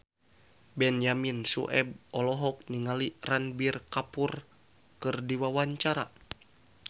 Benyamin Sueb olohok ningali Ranbir Kapoor keur diwawancara